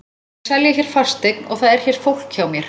Ég er að selja hér fasteign og það er hér fólk hjá mér.